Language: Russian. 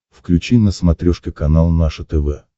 включи на смотрешке канал наше тв